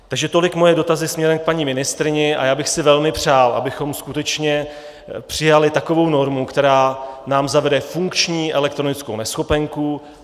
Takže tolik moje dotazy směrem k paní ministryni a já bych si velmi přál, abychom skutečně přijali takovou normu, která nám zavede funkční elektronickou neschopenku.